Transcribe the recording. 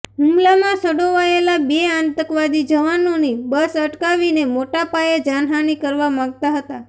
હુમલામાં સંડોવાયેલા બે આતંકવાદી જવાનોની બસ અટકાવીને મોટા પાયે જાનહાનિ કરવા માગતા હતા